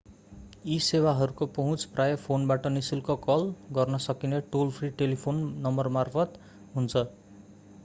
यी सेवाहरूको पहुँच प्रायः फोनबाट नि:शुल्क कल गर्न सकिने टोल-फ्रि टेलिफोन नम्बरमार्फत हुन्छ।